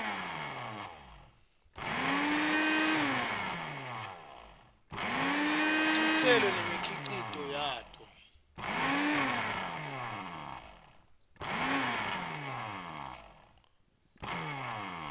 titselo nemikhicito yato